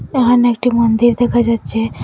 এহানে একটি মন্দির দেখা যাচ্ছে।